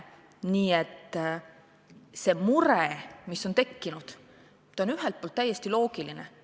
Nii et see mure, mis on tekkinud, on ühelt poolt täiesti loogiline.